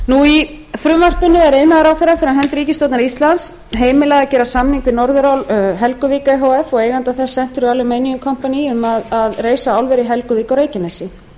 í frumvarpinu er iðnaðarráðherra fyrir hönd ríkisstjórnar íslands heimilað að gera samning við norðurál helguvík e h f og eiganda þess century aluminum company um að reisa álver í helguvík á reykjanesi